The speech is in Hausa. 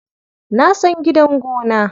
Na san gidan gona.